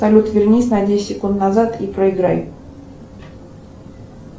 салют вернись на десять секунд назад и проиграй